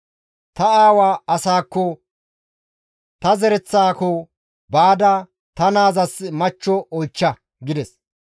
ta aawa asaakko ta zereththaako baada ta naazas machcho oychcha› gides.